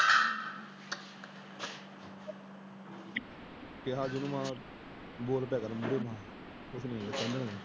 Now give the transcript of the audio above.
ਕਿਹਾ ਸੀ ਮੈ। ਬੋਲ ਪਿਆ ਕਰ ਮੂਹਰੇ ਤੂੰ। ਕੁਛ ਨਹੀਂ ਕਹਿੰਦੇ।